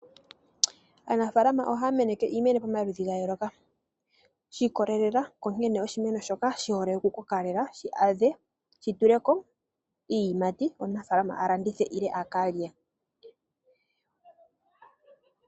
Aanafalama ohaya meneke iimeno pamaludhi gayooloka. Shi ikolelela ku nkene oshimeno shoka shihole oku koka shi adhe shi tuleko iiyimati. Ye omunafalama a landithe nenge akalye.